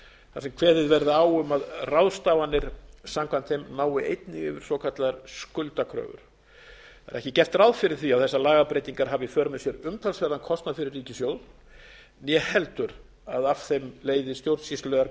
þar sem kveðið verði á um að ráðstafanir samkvæmt þeim nái einnig yfir svokallaðar skuldakröfur það er ekki gert ráð fyrir því að þessar lagabreytingar hafi í för með sér umtalsverðan kostnað fyrir ríkissjóð né heldur að af þeim leiði stjórnsýslulegar